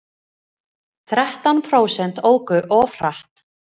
Þrettán prósent óku of hratt